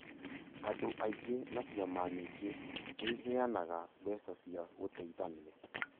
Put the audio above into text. Andũ aingĩ na ciama nyingĩ nĩiheanaga mbeca cia gũteithania